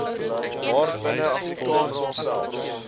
waarbinne afrikaans homself